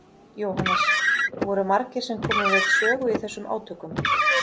Jóhannes: Voru margir sem komu við sögu í þessum átökum?